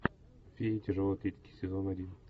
фея тяжелой атлетики сезон один